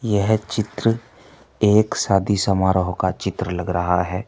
यह चित्र एक शादी समारोह का चित्र लग रहा है।